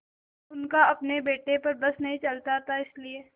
उनका अपने बेटे पर बस नहीं चलता था इसीलिए